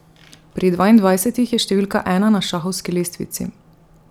Pri dvaindvajsetih je številka ena na šahovski lestvici.